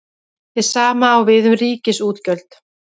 Hið sama á við um ríkisútgjöld.